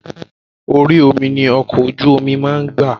Orí omi ni ọkọ̀ ojú máa ń gbà.